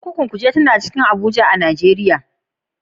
Kurkukun Kuje tana cikin Abuja a Najeriya.